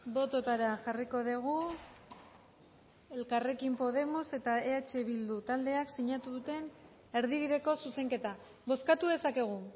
bototara jarriko dugu elkarrekin podemos eta eh bildu taldeak sinatu duten erdibideko zuzenketa bozkatu dezakegu